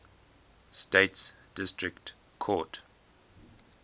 states district court